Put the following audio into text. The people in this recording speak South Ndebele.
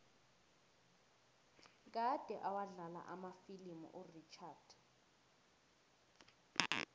kade awadlala amafilimu urichard